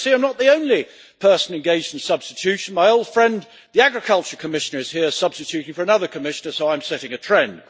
I see I am not the only person engaged in substitution, as my old friend the Agriculture Commissioner is here substituting for another Commissioner, so I am setting a trend.